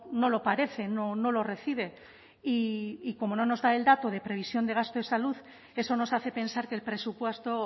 no lo parece no lo recibe y como no nos da el dato de previsión de gasto de salud eso nos hace pensar que el presupuesto